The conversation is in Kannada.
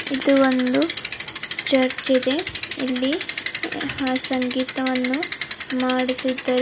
ಇದು ಒಂದು ಚರ್ಚಿದೆ ಇಲ್ಲಿ ಹಾ ಸಂಗಿತವನ್ನು ಮಾಡುತ್ತಿದ್ದರೆ.